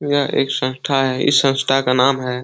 यह एक संस्था है। इस संस्था का नाम है --